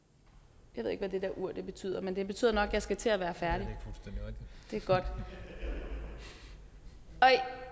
jeg ved ikke hvad det der ur betyder men det betyder nok at jeg skal til at være færdig det er godt